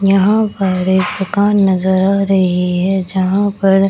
यहाँ पर एक दूकान नजर आ रही है जहां पर --